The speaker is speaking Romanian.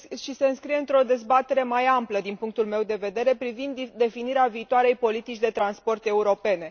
se înscrie într o dezbatere mai amplă din punctul meu de vedere privind definirea viitoarei politici de transport europene.